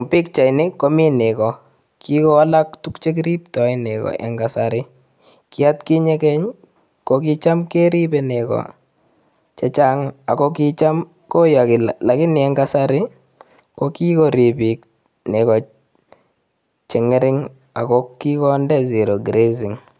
Pichaini komi nego. kigowalak tuguk chekiriptoen nego en kasari ki at kinye geny, kogicham keribe nego chechang ago kicham kiyogi. Lakini en kasari ko kigorib biik nego che ng'ering ako kigonde zero grazing.